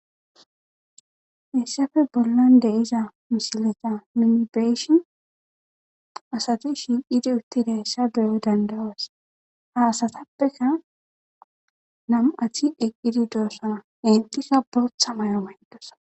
Hessafe bollan deiza mishileta minibeshin asati shiiqidi uttida hessa beyoy dandayos ha asatappeka nam7athi eqqidi doosana entika bortha mayo mayndosa.